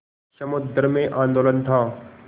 समुद्र में आंदोलन था